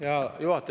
Hea juhataja!